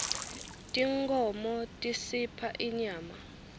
tinkhmo tisipha inyama